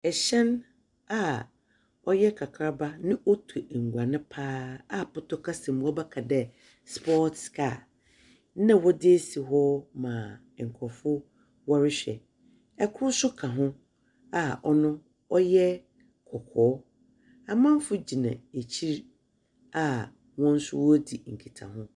Hyɛn a ɔyɛ kakraba na out enguan paa a pɔtɔ kasa mu wɔbɛka no dɛ sports car na wɔdze asi hɔ ma nkorɔfo wɔrohwɛ. Kor nso kaa ho a ɔno so ɔyɛ kɔkɔɔ. amamfo gyina ekyir a hɔn so woridzi nkita ho.